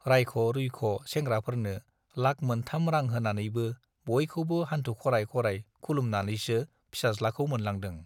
राइख'-रुइख' सेंग्राफोरनो लाख मोनथाम रां होनानैबो बयखौबो हान्थु खराय खराय खुलुमनानैसो फिसाज्लाखौ मोनलांदों।